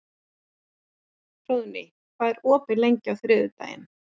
Hróðný, hvað er opið lengi á þriðjudaginn?